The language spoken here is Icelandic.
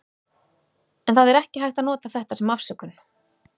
En það er ekki hægt að nota þetta sem afsökun.